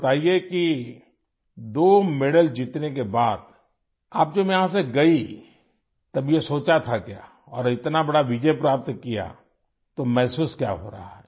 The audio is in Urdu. بتائیے ، کہ دو میڈل جیتنے کے بعد ، جب آپ یہاں سے گئیں ، تب یہ سوچا تھا کیا اور اتنی بڑی کامیابی حاصل کی تو کیا محسوس ہو رہا ہے ؟